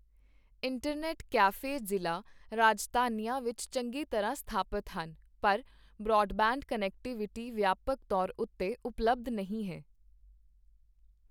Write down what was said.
Internet cafe ਜ਼ਿਲ੍ਹਾ ਰਾਜਧਾਨੀਆਂ ਵਿੱਚ ਚੰਗੀ ਤਰ੍ਹਾਂ ਸਥਾਪਿਤ ਹਨ, ਪਰ ਬ੍ਰਾਡਬੈਂਡ ਕਨੈਕਟੀਵਿਟੀ ਵਿਆਪਕ ਤੌਰ ਉੱਤੇ ਉਪਲਬਧ ਨਹੀਂ ਹੈ।